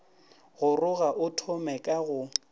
goroga a thome ka go